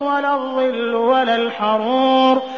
وَلَا الظِّلُّ وَلَا الْحَرُورُ